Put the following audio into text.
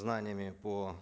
знаниями по